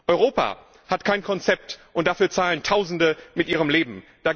Europa hat kein Konzept, und dafür bezahlen Tausende mit ihrem Leben.